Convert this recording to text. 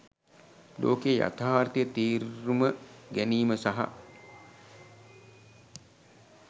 ලෝකයේ යතාර්ථය තේරුම ගැනීම සහ